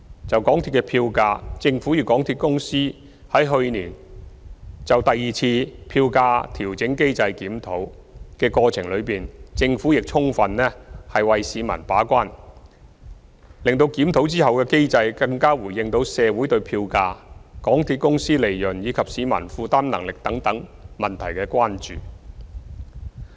就港鐵票價，政府與港鐵公司於去年就第二次票價調整機制檢討的過程中，政府充分為市民把關，使檢討後的機制更回應到社會對票價、港鐵公司利潤，以及市民負擔能力等問題的關注。